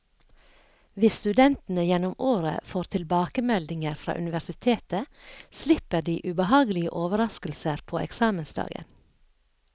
Hvis studentene gjennom året får tilbakemeldinger fra universitetet, slipper de ubehagelige overrasker på eksamensdagen.